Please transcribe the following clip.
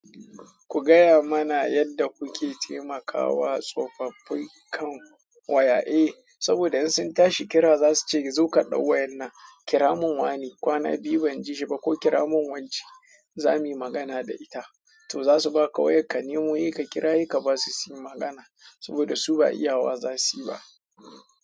Ku gaya mana yadda kuke taimakawa tsofaffi kan waya. Eh, saboda in sun tashi kira za su ce zo ka ɗau wayan nan, kira mun wane, kwana biyu ban ji shi ba ko kira mun wance za muyi magana da ita. To za su baka wayar ka nemo, yi ka kira, yi ka basu sim magana saboda su ba iya waya za su yi ba.